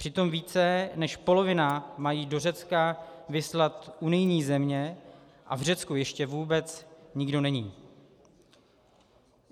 Přitom více než polovinu mají do Řecka vyslat unijní země a v Řecku ještě vůbec nikdo není.